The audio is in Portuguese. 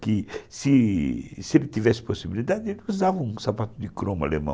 Se ele tivesse possibilidade, ele usava um sapato de cromo alemão.